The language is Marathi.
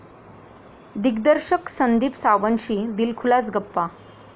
दिग्दर्शक संदीप सावंतशी दिलखुलास गप्पा